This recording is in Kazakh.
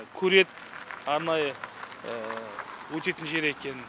көрет арнайы өтетін жер екенін